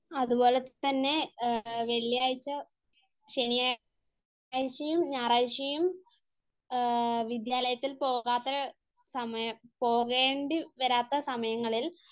അതുപോലെതന്നെ വെള്ളിയാഴ്ച, ശനിയാഴ്ചയും ഞായറാഴ്ചയും വിദ്യാലയത്തിൽ പോകാത്ത സമയം പോകേണ്ടി വരാത്ത സമയങ്ങളിൽ